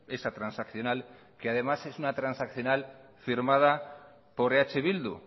esa transaccional que además transaccional firmada por eh bildu